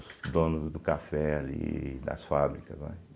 Os donos do café ali, das fábricas, né?